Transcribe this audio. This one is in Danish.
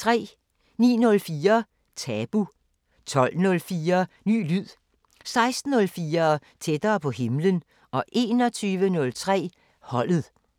09:04: Tabu 12:04: Ny lyd 16:04: Tættere på himlen 21:03: Holdet